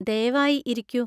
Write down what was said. ദയവായി ഇരിക്കൂ.